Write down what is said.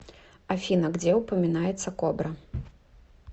афина где упоминается кобра